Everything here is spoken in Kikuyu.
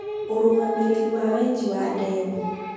ũrũgamĩrĩrĩ wa wenji wa demu.